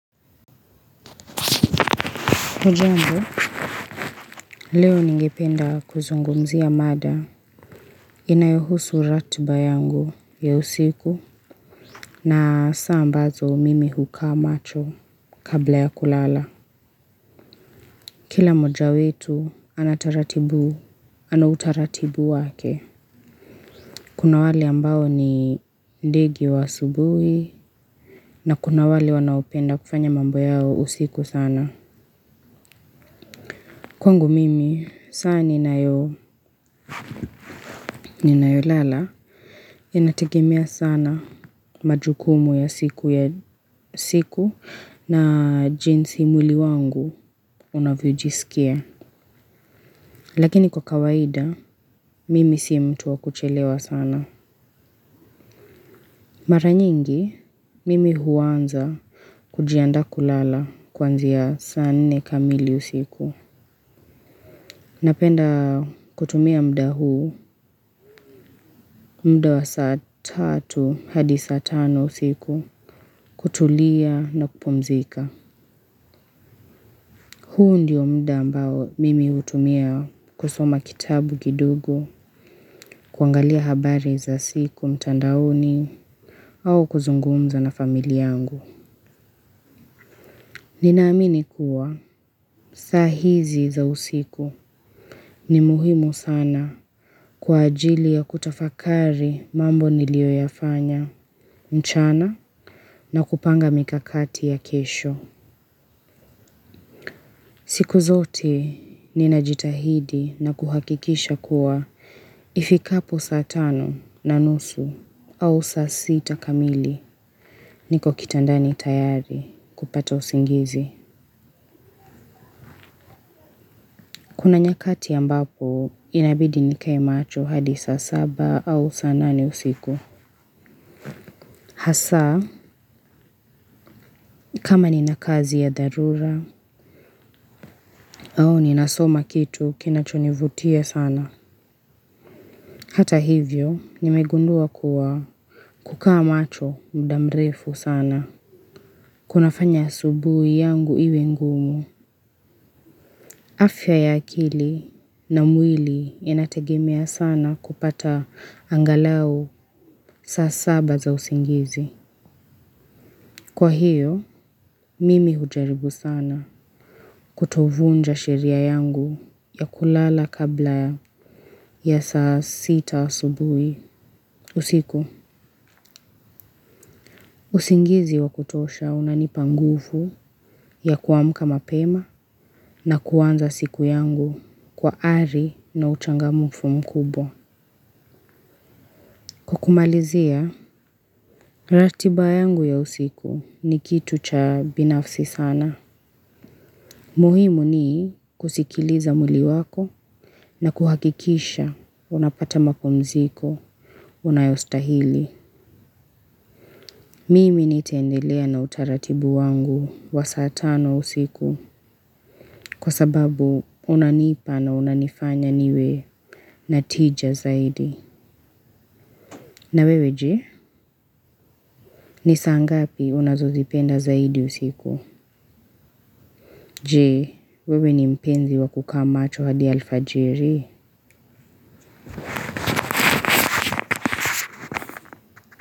Hujambo, leo ningependa kuzungumzia mada inayohusu ratiba yangu ya usiku, na saa ambazo mimi hukaa macho kabla ya kulala. Kila mmoja wetu anataratibu, ana utaratibu wake. Kuna wale ambao ni ndege wa asubuhi na kuna wale wanaopenda kufanya mambo yao usiku sana. Kwangu mimi, saa ninayo ninayolala, inategemea sana majukumu ya siku, ya siku na jinsi mwili wangu unavyojisikia. Lakini kwa kawaida, mimi si mtu wa kuchelewa sana. Mara nyingi, mimi huanza kujianda kulala kuanzia saa nne kamili usiku. Napenda kutumia muda huu, muda wa saa tatu hadi saa tano usiku, kutulia na kupumzika. Huu ndio muda mbao mimi hutumia kusoma kitabu kidogo, kuangalia habari za siku mtandaoni au kuzungumza na familia yangu. Ninaamini kuwa saa hizi za usiku ni muhimu sana kwa ajili ya kutafakari mambo niliyoyafanya. Mchana na kupanga mikakati ya kesho. Siku zote ninajitahidi na kuhakikisha kuwa ifikapo saa tano na nusu au saa sita kamili niko kitandani tayari kupata usingizi. Kuna nyakati ambapo inabidi nikae macho hadi saa saba au saa nane usiku. Hasa, kama nina kazi ya dharura au ninasoma kitu kinachonivutia sana. Hata hivyo, nimegundua kuwa kukaa macho muda mrefu sana. Kunafanya asubuhi yangu iwe ngumu. Afya ya akili na mwili inategemia sana kupata angalau saa saba za usingizi. Kwa hiyo, mimi hujaribu sana kutovunja sheria yangu ya kulala kabla ya saa sita asubuhi, usiku. Usingizi wa kutosha unanipa nguvu ya kuamka mapema na kuanza siku yangu kwa ari na uchangamfu mkubwa. Kwa kumalizia, ratiba yangu ya usiku ni kitu cha binafsi sana. Muhimu ni kusikiliza mwili wako na kuhakikisha unapata mapumziko unayostahili. Mimi nitendelea na utaratibu wangu wa saa tano usiku kwa sababu unanipa na unanifanya niwe na tija zaidi. Na wewe je, ni saa ngapi unazozipenda zaidi usiku? Jee, wewe ni mpenzi wa kukaa macho hadi alfajiri?